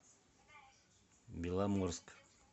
беломорск